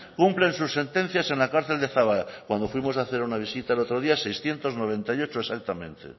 cumplen sus sentencias en la cárcel de zaballa cuando fuimos a hacer una visita el otro día seiscientos noventa y ocho exactamente